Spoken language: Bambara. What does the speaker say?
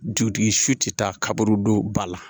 Jutigi su ti taa kaburu don ba la